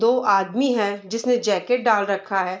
दो आदमी है जिसने जैकेट डाल रखा है।